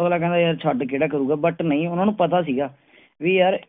ਅਗਲਾ ਕਹਿੰਦਾ ਯਾਰ ਛੱਡ ਕਿਹੜਾ ਕਰੂਗਾ but ਨਹੀਂ ਉਨ੍ਹਾਂਨੂੰ ਪਤਾ ਸੀਗਾ